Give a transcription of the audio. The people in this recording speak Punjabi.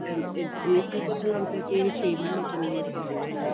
ਇਨ ਇਹ ਕੀ ਪਤਾ ਲੱਗਦਾ ਕੀ ਇਹ ਛੇ ਮਹੀਨੇ ਚੱਲੇ ਸਾਲ ਚੱਲੇ